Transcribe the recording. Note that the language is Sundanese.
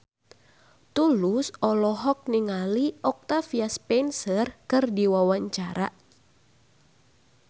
Tulus olohok ningali Octavia Spencer keur diwawancara